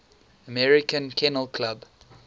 american kennel club